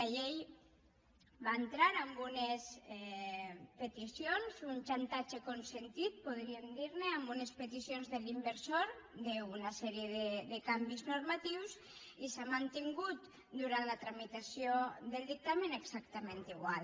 la llei va entrar amb unes peticions un xantatge consentit podríem dir ne amb unes peticions de l’inversor d’una sèrie de canvis normatius i s’ha mantingut durant la tramitació del dictamen exactament igual